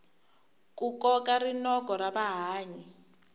ku koka rinoko ra vahlayi